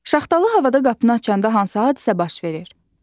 Şaxtalı havada qapını açanda hansı hadisə baş verir?